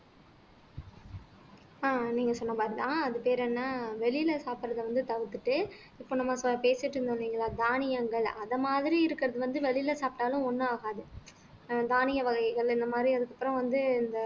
அஹ் நீங்க சொன்ன மாரிதான் அது பேர் என்ன வெளியில சாப்பிடறதை வந்து தவிர்த்துட்டு இப்ப நம்ம இப்ப பேசிட்டிருந்தோம் இல்லீங்களா தானியங்கள் அதை மாரி இருக்கிறது வந்து வெளியில சாப்பிட்டாலும் ஒண்ணும் ஆகாது ஆஹ் தானிய வகைகள் இந்த மாதிரி அதுக்கப்புறம் வந்து